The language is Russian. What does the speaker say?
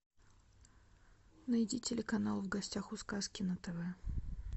найди телеканал в гостях у сказки на тв